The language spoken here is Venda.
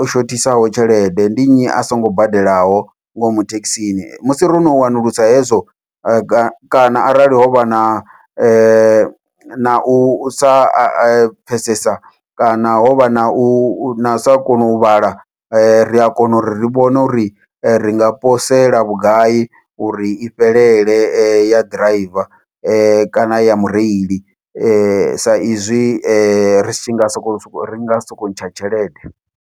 o shothisaho tshelede ndi nnyi a songo badelaho ngomu thekhisini, musi rono wanulusa hezwo a kana arali hovha na nau sa pfhesesa kana hovha nau sa kona u vhala ria kona uri ri vhone uri ringa posela vhugai uri i fhelele ya ḓiraiva kana ya mureili, sa izwi ri tshi nga soko ri nga sokou ntsha tshelede.